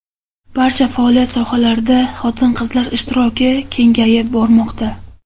Barcha faoliyat sohalarida xotin-qizlar ishtiroki kengayib bormoqda.